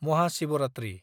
Mahashivratri